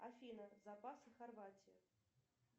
афина запасы хорватии